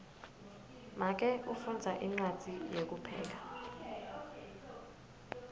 make ufundza incwadzi yekupheka